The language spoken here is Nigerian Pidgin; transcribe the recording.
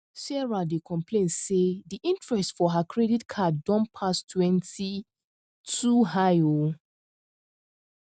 sarah dey complain say di interest for her credit card don pass 20e too high um